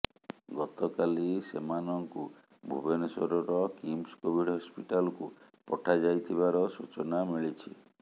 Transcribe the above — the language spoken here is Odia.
ଗତକାଲି ସେମାନଙ୍କୁ ଭୁବନେଶ୍ବରର କିମ୍ସ କୋଭିଡ୍ ହସ୍ପିଟାଲକୁ ପଠାଯାଇଥିବାର ସୂଚନା ମିଳିଛି